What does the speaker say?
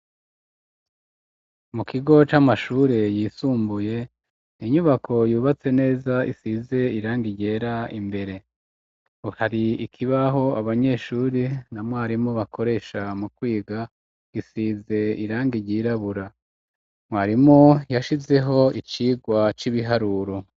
Mu kigo c'amashure, yisumbuye, inyubako, yubatse neza, isize irangi ryera imbere; hari ikibaho, abanyeshuri na mwarimu, bakoresha mu kwiga, gisize irangi ryirabura; mwarimu yashizeho icigwa c'ibiharuro.